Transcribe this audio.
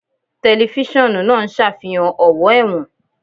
Tẹlifíṣọ̀n náà ń ṣàfihàn ọ̀wọ́ ẹ̀wọ̀n